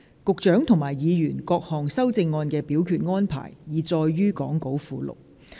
局長及議員各項修正案的表決安排，已載於講稿附錄。